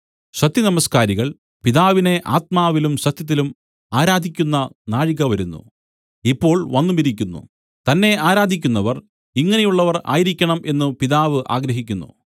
സത്യനമസ്ക്കാരികൾ പിതാവിനെ ആത്മാവിലും സത്യത്തിലും ആരാധിക്കുന്ന നാഴിക വരുന്നു ഇപ്പോൾ വന്നുമിരിക്കുന്നു തന്നെ ആരാധിക്കുന്നവർ ഇങ്ങനെയുള്ളവർ ആയിരിക്കണം എന്നു പിതാവ് ആഗ്രഹിക്കുന്നു